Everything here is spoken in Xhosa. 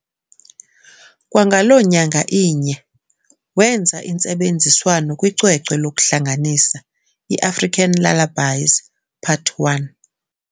Kwangaloo nyanga inye wenza intsebenziswano kwicwecwe lokuhlanganisa i- "African Lullabies Pt. 1"